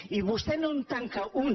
i vostè no en tanca una